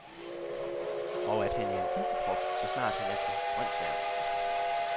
Og at han er en hidsigprop, så snart han er på grønsværen.